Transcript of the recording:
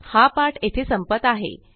हा पाठ येथे संपत आहे